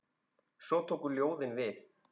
Svo tóku ljóðin við.